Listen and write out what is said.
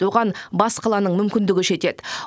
оған бас қаланың мүмкіндігі жетеді